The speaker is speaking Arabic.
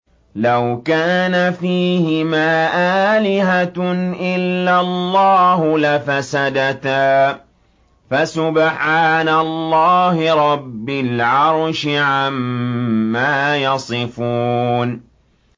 لَوْ كَانَ فِيهِمَا آلِهَةٌ إِلَّا اللَّهُ لَفَسَدَتَا ۚ فَسُبْحَانَ اللَّهِ رَبِّ الْعَرْشِ عَمَّا يَصِفُونَ